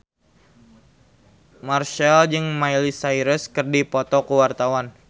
Marchell jeung Miley Cyrus keur dipoto ku wartawan